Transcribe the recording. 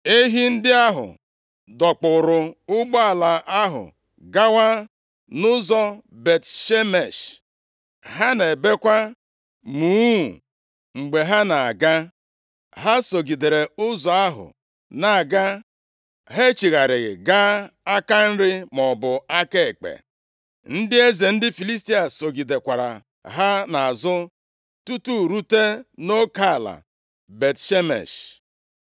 Ehi ndị ahụ dọkpụrụ ụgbọ ahụ gawa nʼụzọ Bet-Shemesh. Ha na-ebekwa muuu mgbe ha na-aga. Ha sogidere ụzọ ahụ na-aga. Ha echigharịghị gaa aka nri maọbụ aka ekpe. Ndị eze ndị Filistia sogidekwara ha nʼazụ tutu rute nʼoke ala Bet-Shemesh.